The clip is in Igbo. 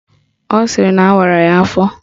Ọ sịrị na awara ya afọ